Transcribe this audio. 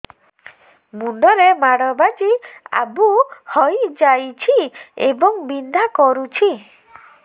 ମୁଣ୍ଡ ରେ ମାଡ ବାଜି ଆବୁ ହଇଯାଇଛି ଏବଂ ବିନ୍ଧା କରୁଛି